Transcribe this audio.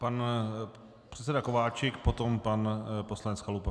Pan předseda Kováčik, potom pan poslanec Chalupa.